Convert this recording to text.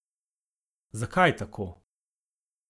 Zakaj tako?